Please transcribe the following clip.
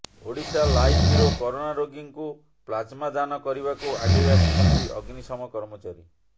Odisha live bureau corona ରୋଗୀଙ୍କୁ plasma ଦାନ କରିବାକୁ ଆଗେଇ ଆସିଛନ୍ତି ଅଗ୍ନିଶମ କର୍ମଚାରୀ